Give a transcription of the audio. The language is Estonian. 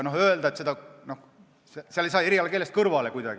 Seal ei saa kuidagi erialakeelest mööda.